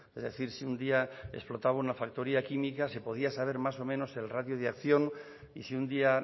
es decir si un día explotaba una factoría química se podía saber más o menos el radio de acción y si un día